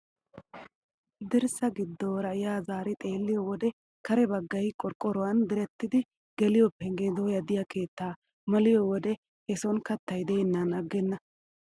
Dirssa giddoora yaa zaari xeelliyoo wode kare baggay qorqqoruwaan direttidi geliyoo penggee dooya de'iyoo keettaa maliyoo wode he soni kattay de'ennan agenna!